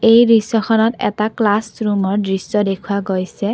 এই দৃশ্য খনত এটা ক্লাছ ৰুমৰ দৃশ্য দেখুওৱা গৈছে।